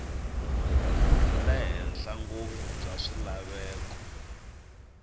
le henhla ngopfu bya swilaveko